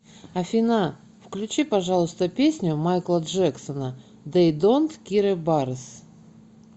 афина включи пожалуйста песню майкла джексона дей донт кире барес